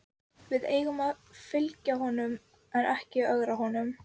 Við eigum að fylgja honum en ekki ögra honum.